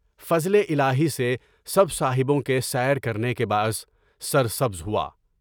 فضلِ الٰہی سے سب صاحبوں کے سیر کرنے کے باعث سر سبز ہوا۔